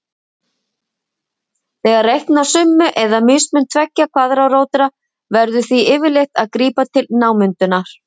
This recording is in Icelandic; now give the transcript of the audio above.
Þegar reikna á summu eða mismun tveggja kvaðratróta verður því yfirleitt að grípa til námundunar.